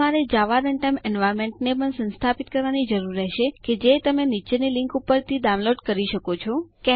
તમારે Java runtime environment ને પણ સંસ્થાપિત કરવાની જરૂર રહેશે કે જે તમે નીચેની લીન્ક ઉપરથી ડાઉનલોડ કરી શકો છો httpwwwjavacomendownloadindexjsp